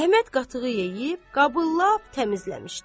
Əhməd qatığı yeyib qabı lap təmizləmişdi.